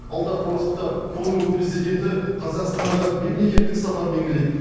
алдағы уақытта конго президенті қазақстанға мемлекеттік сапармен келеді